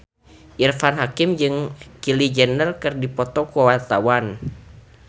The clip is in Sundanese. Irfan Hakim jeung Kylie Jenner keur dipoto ku wartawan